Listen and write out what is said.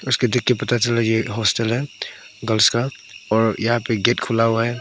उसको देख के पता चल रहा है ये हॉस्टल है गर्ल्स का और यहां पे गेट खुला हुआ है।